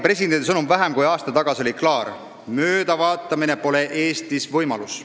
Presidendi sõnum vähem kui aasta tagasi oli klaar: möödavaatamine pole Eestis võimalus.